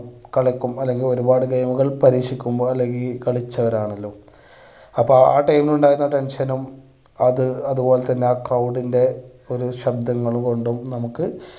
കളിക്കും അല്ലെങ്കിൽ ഒരുപാട് പരീക്ഷിക്കുമ്പോൾ അല്ലെങ്കിൽ ഈ കളിച്ചവരാണല്ലോ. അപ്പൊ ആ time ൽ ഉണ്ടായിരുന്ന tension ഉം അത് അത് പോലെ തന്നെ ആ crowd ൻ്റെ ഒരു ശബ്ദങ്ങൾ കൊണ്ടും നമുക്ക്